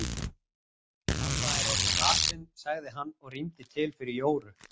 Amma er orðin lasin sagði hann og rýmdi til fyrir Jóru.